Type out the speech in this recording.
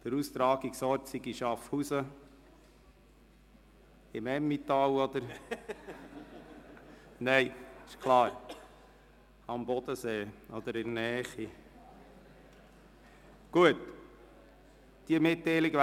Der Austragungsort sei in Schaffhausen, das heisst, Schaffhausen in der Nähe des Bodensees, nicht Schafhausen im Emmental.